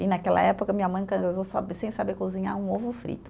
E naquela época minha mãe casou sa, sem saber cozinhar um ovo frito.